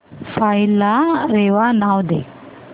file ला रेवा नाव दे